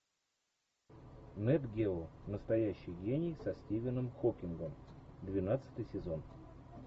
нет гео настоящий гений со стивеном хокингом двенадцатый сезон